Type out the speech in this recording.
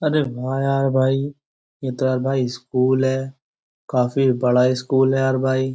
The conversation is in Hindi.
अरे वाह यार भाई यह तो यार भाई स्कूल है। काफी बड़ा स्कूल है यार भाई।